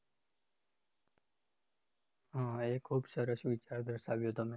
હા એ ખુબ સરસ વિચાર દર્શાવ્યો તમે